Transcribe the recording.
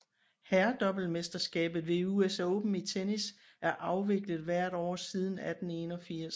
Herredoublemesterskabet ved US Open i tennis er afviklet hvert år siden 1881